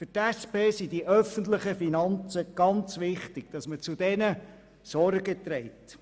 Für die SP sind die öffentlichen Finanzen sehr wichtig, und dass man zu diesen Sorge trägt.